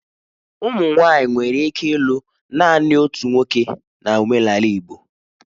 Ụmụ nwanyị nwere ike ịlụ naanị otu nwoke na omenala Igbo